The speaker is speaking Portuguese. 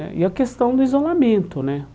Né E a questão do isolamento, né?